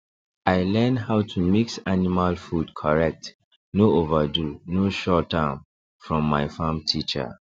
i learn how to mix animal food correct no overdo no short am from my farm teacher